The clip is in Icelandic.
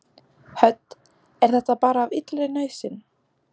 Hödd: Er þetta bara af illri nauðsyn?